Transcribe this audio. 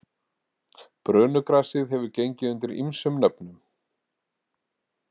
Brönugrasið hefur gengið undir ýmsum nöfnum.